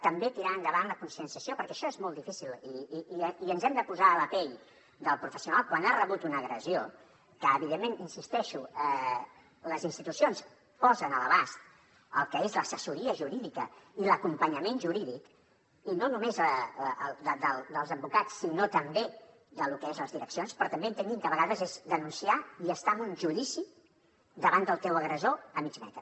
també tirar endavant la conscienciació perquè això és molt difícil i ens hem de posar a la pell del professional quan ha rebut una agressió que evidentment hi insisteixo les institucions posen a l’abast el que és l’assessoria jurídica i l’acompanyament jurídic i no només dels advocats sinó també del que són les direccions però també entenguin que a vegades és denunciar i estar en un judici davant del teu agressor a mig metre